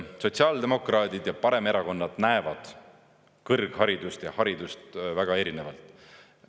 Sotsiaaldemokraadid ja paremerakonnad näevad kõrgharidust ja haridust väga erinevalt.